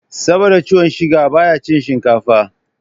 Saboda ciwon siga baya cin shinkafa